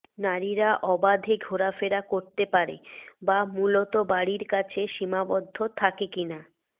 নারীরা অবাধে ঘোরাফেরা করতে পারে বা মূলত বাড়ির কাছে সীমাবদ্ধ থাকে কিনা